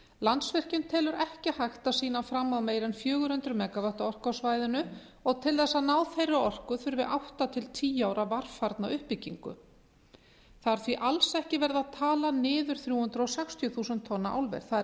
landsvirkjun telur ekki hægt að sýna fram á meira en fjögur hundruð megavatta orku á svæðinu og til þess að ná þeirri orku þurfi átta til tíu ára varfærna uppbyggingu það er því alls ekki verið að tala niður þrjú hundruð sextíu þúsund tonna álver það er